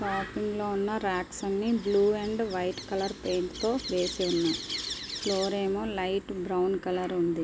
ఇందులో ఉన్న ర్యాక్స్ అన్ని blue and white colour paint తో వేసి ఉన్నాయి ఫ్లోర్ ఏమో లైట్ బ్రౌన్ కలర్ ఉంది.